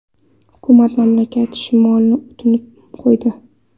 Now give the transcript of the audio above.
Hukumat mamlakat shimolini unutib qo‘ydi.